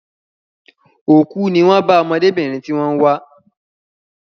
Òkú ní wón bá ọmọdébìnrin tí wón ń wá